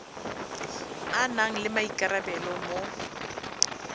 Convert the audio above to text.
a nang le maikarabelo mo